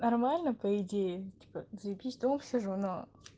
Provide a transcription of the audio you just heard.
нормально по идее типа заебись дома сижу но